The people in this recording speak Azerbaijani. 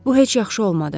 Bu heç yaxşı olmadı.